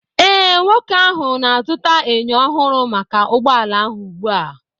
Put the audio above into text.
Ee, nwoke ahụ na-azụta enyo ọhụrụ maka ụgbọ ala ahụ ugbu a